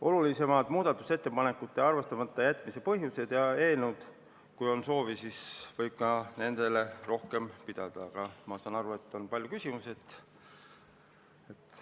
Olulisimatel muudatusettepanekute arvestamata jätmise põhjustel võib, kui on soovi, rohkem peatuda, aga ma saan aru, et on palju küsimusi.